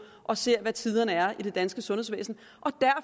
og ser hvad tiderne er i det danske sundhedsvæsen